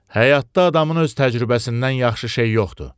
Həyatda adamın öz təcrübəsindən yaxşı şey yoxdur.